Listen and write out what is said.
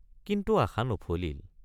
কিন্তু আশ৷ নফলিল।